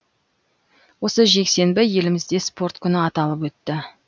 осы жексенбі елімізде спорт күні аталып өтті